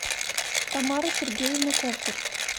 тамара сергеевна кобзарь